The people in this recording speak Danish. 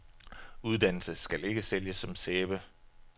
Uddannelse skal ikke sælges som sæbe.